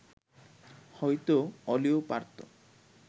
হয়তো অলিও পারত